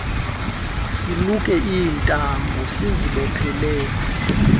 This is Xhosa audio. siluke iintambo siziboophelele